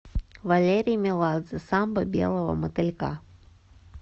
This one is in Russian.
валерий меладзе самба белого мотылька